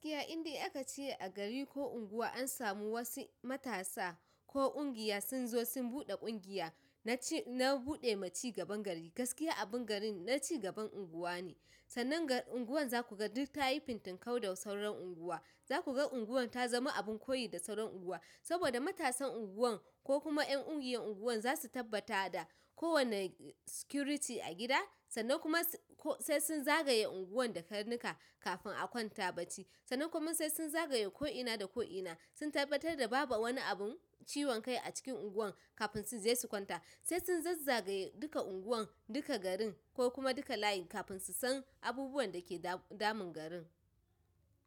Gaskiya inde aka che a gari ko unguwa an samu wasu matasa ko ƙungiya sun zo sun buɗe ƙungiya, na ci na buɗe maci gaban gari. Gaskiya abin garin na cigaban unguwa ne, sannan ga unguwan za ku ga duk ta yi fintin kau da sauran unguwa. Za kuga unguwan tazama abun koyi da sauran unguwa saboda matasan unguwan ko kuma ƴan ƙungiyar unguwan za su tabbata da kowane security a gida sannan kuma ko sai sun zagaye unguwan da karnuka kafin a kwanta bacci. Sannan kuma sai sun zagaye ko'ina da ko'ina sun tabbatar da babu wani abun ciwon kai a cikin unguwan kafin su je su kwanta. Sai sun zazzage duka unguwan, duka garin ko kuma duka layin kafin su san abubuwan da ke damu damun garin.